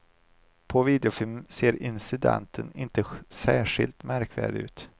På videofilmen ser incidenten inte särskilt märkvärdig ut.